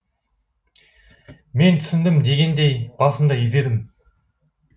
мен түсіндім дегендей басымды изедім